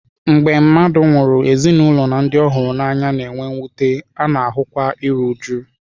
Mgbe mmadụ nwụrụ, ezinụlọ na ndị ọ hụrụ n'anya na-enwe mwute, a na-ahụkwa iru újú.